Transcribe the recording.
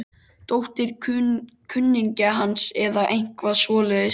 Dóttir kunningja hans eða eitthvað svoleiðis.